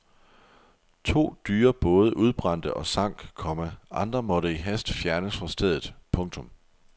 To dyre både udbrændte og sank, komma andre måtte i hast fjernes fra stedet. punktum